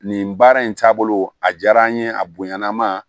Nin baara in taabolo a diyara n ye a bonyana ma